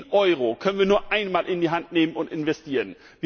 Jeden Euro können wir nur einmal in die Hand nehmen und investieren.